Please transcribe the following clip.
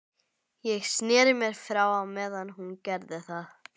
Ég sneri mér frá á meðan hún gerði það.